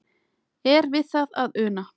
Er við það að una?